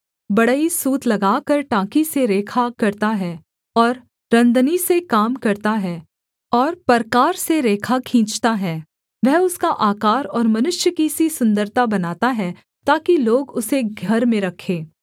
बढ़ई सूत लगाकर टाँकी से रेखा करता है और रन्दनी से काम करता और परकार से रेखा खींचता है वह उसका आकार और मनुष्य की सी सुन्दरता बनाता है ताकि लोग उसे घर में रखें